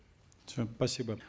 все спасибо